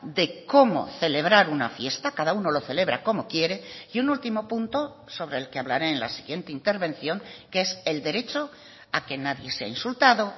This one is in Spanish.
de cómo celebrar una fiesta cada uno lo celebra como quiere y un último punto sobre el que hablaré en la siguiente intervención que es el derecho a que nadie sea insultado